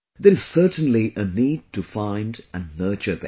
There is certainly a need to find and nurture them